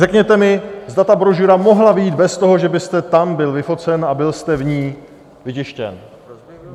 Řekněte mi, zda ta brožura mohla vyjít bez toho, že byste tam byl vyfocen a byl jste v ní vytištěn.